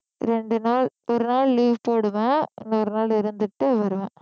ரெண்டு நாள் ஒரு நாள் leave போடுவேன் இன்னொரு நாள் இருந்துட்டு வருவேன்